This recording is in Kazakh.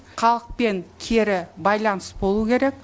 халықпен кері байланыс болу керек